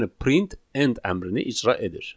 Yəni print end əmrini icra edir.